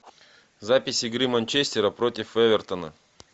запись игры манчестера против эвертона